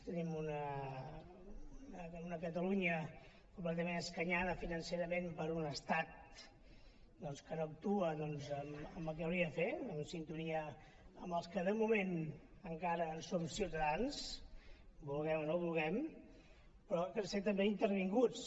tenim una catalunya completament escanyada financerament per un estat que no actua en el que hauria de fer en sintonia amb els que de moment encara en som ciutadans vulguem o no vulguem però que estem també intervinguts